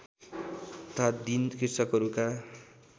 तथा दीन कृषकहरूका